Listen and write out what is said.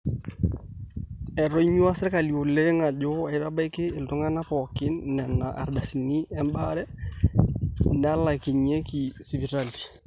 etonyuaa sirkali oleng ajo aitabaiki iltung'anak pooki nena ardasini ebaare naalakinyieki sipitali